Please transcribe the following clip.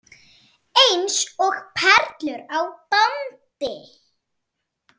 Eins og perlur á bandi.